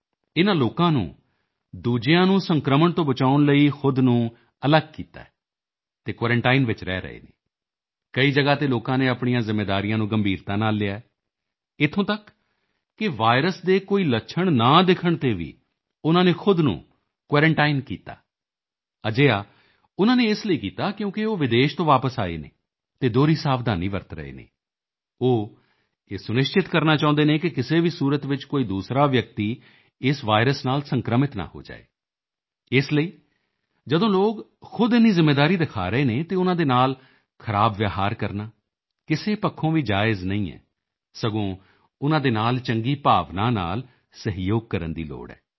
ਇਨ੍ਹਾਂ ਲੋਕਾਂ ਨੂੰ ਦੂਸਰਿਆਂ ਨੂੰ ਸੰਕ੍ਰਮਣ ਤੋਂ ਬਚਾਉਣ ਲਈ ਖੁਦ ਨੂੰ ਅਲੱਗ ਕੀਤਾ ਹੈ ਅਤੇ ਕੁਆਰੰਟਾਈਨ ਵਿੱਚ ਰਹੇ ਹਨ ਕਈ ਜਗ੍ਹਾ ਤੇ ਲੋਕਾਂ ਨੇ ਆਪਣੀਆਂ ਜ਼ਿੰਮੇਵਾਰੀਆਂ ਨੂੰ ਗੰਭੀਰਤਾ ਨਾਲ ਲਿਆ ਹੈ ਇੱਥੋਂ ਤੱਕ ਕਿ ਵਾਇਰਸ ਦੇ ਕੋਈ ਲੱਛਣ ਨਾ ਦਿਖਣ ਤੇ ਵੀ ਉਨ੍ਹਾਂ ਨੇ ਖੁਦ ਨੂੰ ਕੁਆਰੰਟਾਈਨ ਕੀਤਾ ਅਜਿਹਾ ਉਨ੍ਹਾਂ ਨੇ ਇਸ ਲਈ ਕੀਤਾ ਕਿਉਂਕਿ ਉਹ ਵਿਦੇਸ਼ ਤੋਂ ਵਾਪਸ ਆਏ ਹਨ ਅਤੇ ਦੋਹਰੀ ਸਾਵਧਾਨੀ ਵਰਤ ਰਹੇ ਹਨ ਉਹ ਇਹ ਸੁਨਿਸ਼ਚਿਤ ਕਰਨਾ ਚਾਹੁੰਦੇ ਹਨ ਕਿ ਕਿਸੇ ਵੀ ਸੂਰਤ ਵਿੱਚ ਕੋਈ ਦੂਸਰਾ ਵਿਅਕਤੀ ਇਸ ਵਾਇਰਸ ਨਾਲ ਸੰਕ੍ਰਮਿਤ ਨਾ ਹੋ ਜਾਵੇ ਇਸ ਲਈ ਜਦੋਂ ਲੋਕ ਖੁਦ ਇੰਨੀ ਜ਼ਿੰਮੇਵਾਰੀ ਦਿਖਾ ਰਹੇ ਹਨ ਤਾਂ ਉਨ੍ਹਾਂ ਨਾਲ ਖਰਾਬ ਵਿਹਾਰ ਕਰਨਾ ਕਿਸੇ ਪੱਖੋਂ ਵੀ ਜਾਇਜ਼ ਨਹੀਂ ਹੈ ਸਗੋਂ ਉਨ੍ਹਾਂ ਦੇ ਨਾਲ ਚੰਗੀ ਭਾਵਨਾ ਨਾਲ ਸਹਿਯੋਗ ਕਰਨ ਦੀ ਲੋੜ ਹੈ